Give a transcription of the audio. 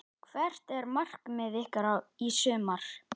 Hvert er markmið ykkar í sumar?